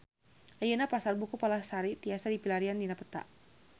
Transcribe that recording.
Ayeuna Pasar Buku Palasari tiasa dipilarian dina peta